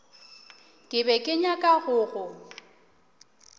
be ke nyaka go go